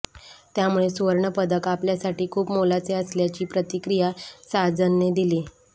त्यामुळे सुवर्णपदक आपल्यासाठी खूप मोलाचे असल्याची प्रतिक्रिया साजनने दिली